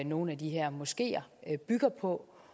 nogle af de her moskeer bygger på